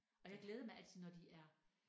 Og jeg glæder mig altid når de er